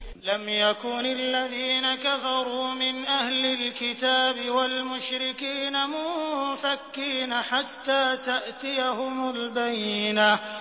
لَمْ يَكُنِ الَّذِينَ كَفَرُوا مِنْ أَهْلِ الْكِتَابِ وَالْمُشْرِكِينَ مُنفَكِّينَ حَتَّىٰ تَأْتِيَهُمُ الْبَيِّنَةُ